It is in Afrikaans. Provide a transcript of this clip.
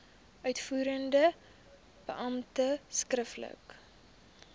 uitvoerende beampte skriftelik